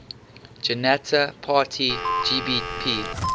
janata party bjp